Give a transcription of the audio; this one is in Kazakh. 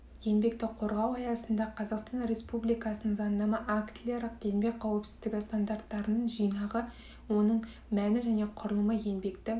еңбекті қорғау аясында қазақстан ресубликасының заңнама актілері еңбек қауіпсіздігі стандарттарының жинағы оның мәні және құрылымы еңбекті